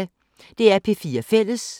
DR P4 Fælles